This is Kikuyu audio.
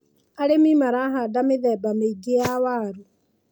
Arĩmi marahanda mĩthemba mĩingi ya waru.